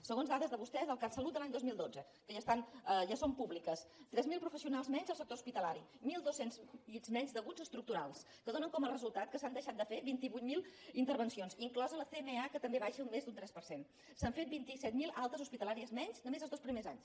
segons dades de vostès del catsalut de l’any dos mil dotze que ja són públiques tres mil professionals menys en el sector hospitalari mil dos cents llits menys d’aguts estructurals que donen com a resultat que s’han deixat de fer vint vuit mil intervencions inclosa la cma que també baixa més d’un tres per cent que s’han fet vint set mil altes hospitalàries menys només els dos primers anys